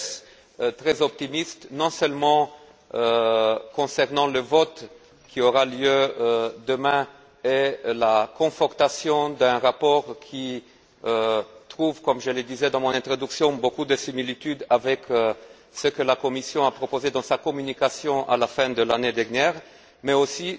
Dess, je reste très optimiste non seulement concernant le vote qui aura lieu demain et la confortation d'un rapport qui présente comme je l'ai dit dans mon introduction beaucoup de similitudes avec ce que la Commission a proposé dans sa communication, à la fin de l'année dernière, mais aussi